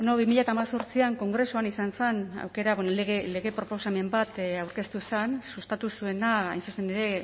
bi mila hemezortzian kongresuan izan zen aukera bueno lege proposamen bat aurkeztu zen sustatu zuena hain zuzen ere